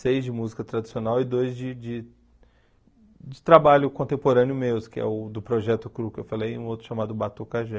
Seis de música tradicional e dois de de de trabalho contemporâneo meu, que é o do Projeto Cru, que eu falei, e um outro chamado Batucagé.